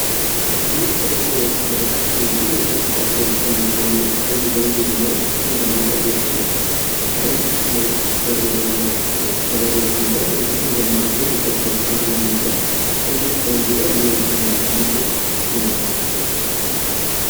ይህ በምስሉ ላይ የምትመለከቱት እንግዲህ የኢትዮጵያ ክልል ከሚገኙ አንዱ ባንድ ነው። ይህ ባንድራ በውስጡ ቀይ፣ ነጭ፣ አረንጓዴ እና ጥቁር ከለሮችን ይዟል። እንድሁም በመሀል ላይ የኮከብ አርማን ይዟል። ይህ ባንድራ የየትኛው ክልል ነው?